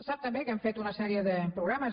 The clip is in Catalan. sap també que hem fet una sèrie de programes